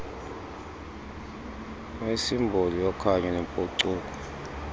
uyisimboli yokhanyo nempucuko